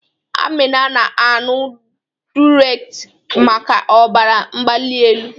Amina na-aṅụ Diuretik maka ọbara mgbali elu.